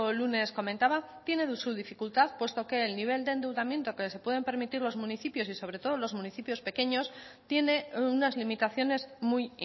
lunes comentaba tiene su dificultad puesto que el nivel de endeudamiento que se pueden permitir los municipios y sobre todo los municipios pequeños tiene unas limitaciones muy